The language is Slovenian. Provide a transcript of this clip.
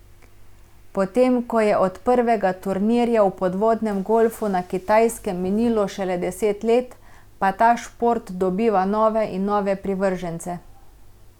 Potem ko je od prvega turnirja v podvodnem golfu na Kitajskem minilo šele deset let, pa ta šport dobiva nove in nove privržence.